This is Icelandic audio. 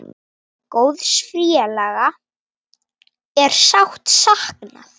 Góðs félaga er sárt saknað.